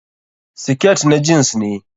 Siket na jeans ne?